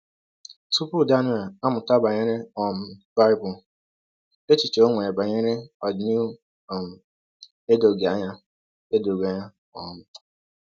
Tupu Daniel amụta banyere um Bible, echiche o nwere banyere ọdịnihu um edoghị anya. edoghị anya. um